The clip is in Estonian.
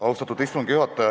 Austatud istungi juhataja!